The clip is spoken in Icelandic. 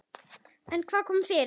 En hvað kom fyrir?